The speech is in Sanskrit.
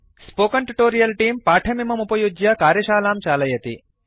स्पोकेन ट्यूटोरियल् तेऽं पाठमिममुपयुज्य कार्यशालां चालयति